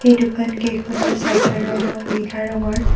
এই দোকান কেইখনৰ শ্বাটাৰ ৰং নীলা ৰঙৰ।